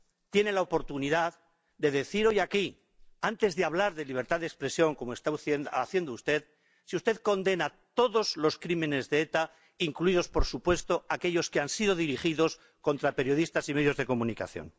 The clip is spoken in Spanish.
Tiene la oportunidad de decir hoy aquí, antes de hablar de libertad de expresión, como está haciendo usted, si usted condena todos los crímenes de ETA, incluidos, por supuesto, aquellos que han sido dirigidos contra periodistas y medios de comunicación.